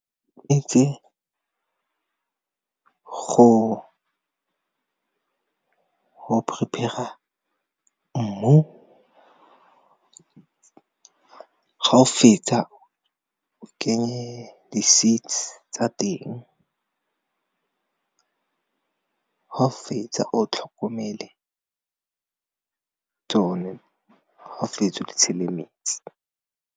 Go prepare-a mmu ga o fetsa o kenye di seeds tsa teng ga o fetsa o tlhokomele tsone, ga fetsa o di tshele metsi.